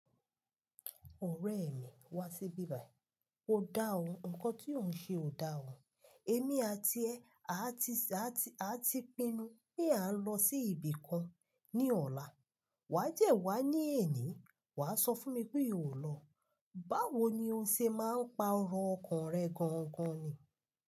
Ọ̀rẹ́ mi, wá síbí báyìí. Ó dá ọ, ǹkan tí ò ń ṣe ò dáa o. Èmi àti ẹ, a ti pínnu pé a ń lọ sí ibí kàn ní ọ̀la. Wà á jẹ́ wá ní èní, wà á sọ fún mi pé ò lọ. Báwo ni o ṣe máa ń pa ọ̀rọ̀ ọkàn rẹ gan gan ni?